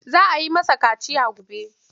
Za a yi masa kaciya mai zobe.